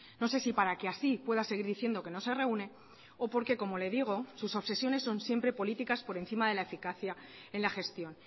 no sé si para que así pueda seguir diciendo que no se reúne o porque como le digo sus obsesiones son siempre políticas por encima de la eficacia en la gestión